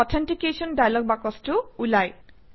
authentication dialog বাকচটো ওলায়